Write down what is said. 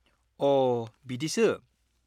-अ, बिदिसो।